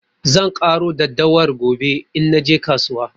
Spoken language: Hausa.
Zan ƙaro daddawar gobe in naje kasuwa.